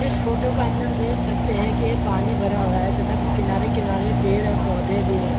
इस फोटो के अंदर देख सकते है कि यह पानी भरा हुआ है तथा किनारे-किनारे पेड़ और पौधे भी है ।